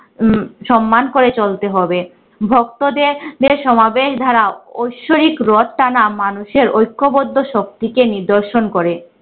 উম সম্মান করে চলতে হবে। ভক্তদের দের সমাবেশ দ্বারা ঐশ্বরিক রথ টানা মানুষের ঐক্যবদ্ধ শক্তিকে নিদর্শন করে।